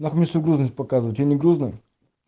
нахуй мне свою грузность показывать я не грузный